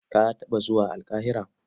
Ka taɓa zuwa Alƙahira?